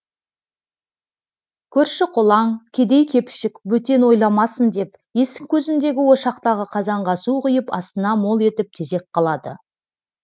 көрші қолаң кедей кепшік бөтен ойламасын деп есік көзіндегі ошақтағы қазанға су құйып астына мол етіп тезек қалады